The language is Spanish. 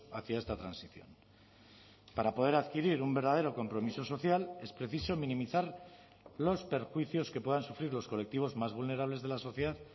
hacia esta transición para poder adquirir un verdadero compromiso social es preciso minimizar los perjuicios que puedan sufrir los colectivos más vulnerables de la sociedad